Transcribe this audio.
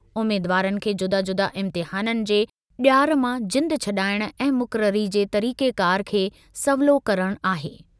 उमीदवारनि खे जुदा-जुदा इम्तिहाननि जे ॼार मां जिंदु छॾाइणु ऐं मुक़ररी जे तरीक़ेकार खे सवलो करणु आहे।